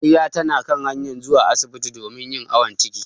Amarya tana hanyar zuwa asibti domin yin awon ciki.